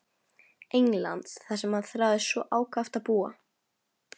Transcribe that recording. Englands þar sem hann þráði svo ákaft að búa.